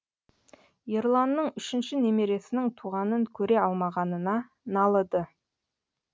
ерланның үшінші немересінің туғанын көре алмағанына налыды